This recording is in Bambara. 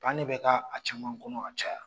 Ban de bɛ kɛ a caman kɔnɔ ka caya.